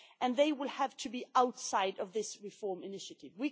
They will have to be outside this reform initiative.